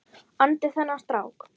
andi þennan strák.